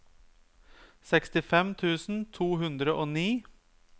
sekstifem tusen to hundre og ni